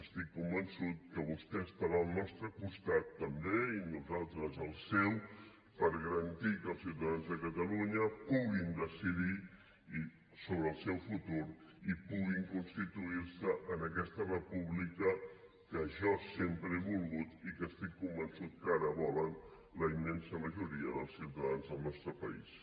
estic convençut que vostè estarà al nostre costat també i nosaltres al seu per garantir que els ciutadans de catalunya puguin decidir sobre el seu futur i puguin constituir se en aquesta república que jo sempre he volgut i que estic convençut que ara volen la immensa majoria dels ciutadans del nostre país